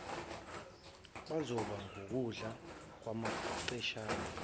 bazoba ngukudla kwamankentshane